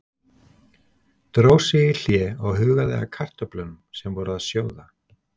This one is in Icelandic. Dró sig í hlé og hugaði að kartöflunum sem voru að sjóða.